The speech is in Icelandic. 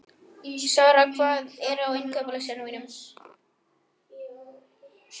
Sara, hvað er á innkaupalistanum mínum?